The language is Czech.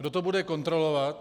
Kdo to bude kontrolovat?